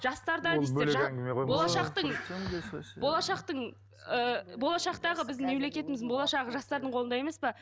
жастарда дейсіздер болашақтың болашақтың ыыы болашақтағы біздің мемлекетіміздің болашағы жастардың қолында емес пе